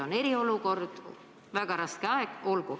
On eriolukord, väga raske aeg, las nad olla.